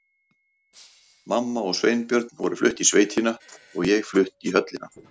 Mamma og Sveinbjörn voru flutt í sveitina og ég flutt í höllina.